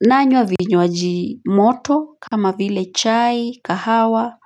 nanywa vinywaji moto kama vile chai kahawa.